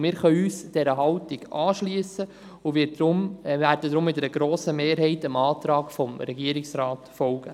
Wir können uns dieser Haltung anschliessen und werden deswegen mit einer grossen Mehrheit dem Antrag des Regierungsrates folgen.